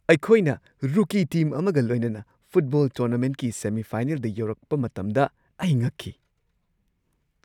ꯑꯩꯈꯣꯏꯅ rookie team ꯑꯃꯒ ꯂꯣꯏꯅꯅ ꯐꯨꯠꯕꯣꯜ ꯇꯣꯔꯅꯥꯃꯦꯟꯠꯀꯤ ꯁꯦꯃꯤ-ꯐꯥꯏꯅꯦꯜꯗ ꯌꯧꯔꯛꯄ ꯃꯇꯝꯗ ꯑꯩ ꯉꯛꯈꯤ ꯫